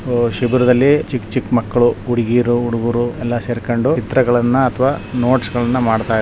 ಸಿಬಿರದಲ್ಲಿ ಚಿಕ್ಕ ಚಿಕ್ಕ ಮಕ್ಕಳು ಹುಡುಗೀರು ಹುಡುಗರು ಎಲ್ಲ ಸೇರಿಕೊಂಡು ಚಿತ್ರಗಳನ್ನ ಅಥವಾ ನೋಟ್ಸ್ ಗಳನ್ನ ಮಾಡ್ತ ಇದ್ದಾರೆ --